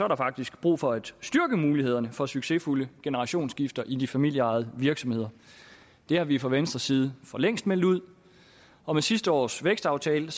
der faktisk brug for at styrke mulighederne for succesfulde generationsskifter i de familieejede virksomheder det har vi fra venstres side for længst meldt ud og med sidste års vækstaftale